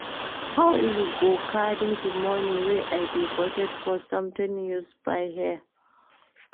How you go carry the money wey I dey budget for something use buy hair